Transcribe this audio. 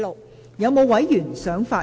是否有委員想發言？